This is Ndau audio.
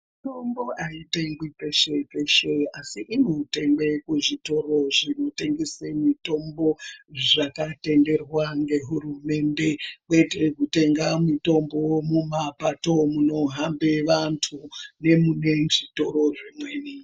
Mitombo aitengwi peshe-peshe, asi inotengwe kuzvitoro zvinotengese mitombo zvakatenderwa ngehurumende kwete kutenga mitombo mumapato munohambe vantu nemunezvitoro zvimweni.